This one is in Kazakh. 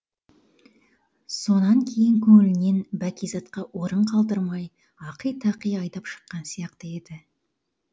сонан кейін көңілінен бәкизатқа орын қалдырмай ақи тақи айдап шыққан сияқты еді